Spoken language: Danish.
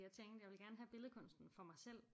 Jeg tænkte jeg vil gerne have billedkunsten for mig selv